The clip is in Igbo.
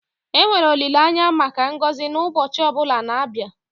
enwere olileanya maka ngọzi n'ụbọchị ọ bụla na-abịa